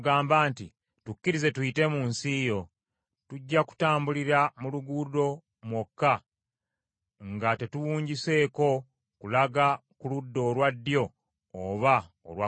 “Tukkirize tuyite mu nsi yo. Tujja kutambulira mu luguudo mwokka nga tetuwunjuseeko kulaga ku ludda olwa ddyo oba olwa kkono.